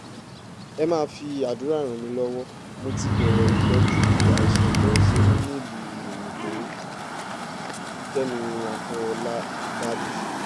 ẹ máa fi àdúrà ràn mí lọ́wọ́ mo ti bẹ̀rẹ̀ ìtọ́jú àìsàn tó ń ṣe mí nílùú òyìnbó-kẹ́mi àfọlábàbí